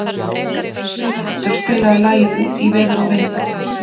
Siguroddur, spilaðu lagið „Út í veður og vind“.